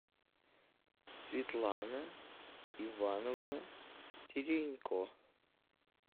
светлана ивановна теренько